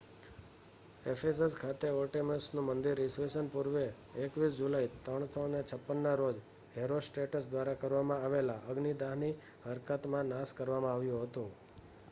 Ephesus ખાતે આર્ટેમિસનું મંદિર ઈસવીસન પૂર્વે 21 જુલાઈ 356ના રોજ હેરોસ્ટ્રેટસ દ્વારા કરવામાં આવેલા અગ્નિદાહની હરકતમાં નાશ કરવામાં આવ્યું હતું